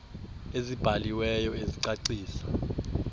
ezibhali weyo ezicacisa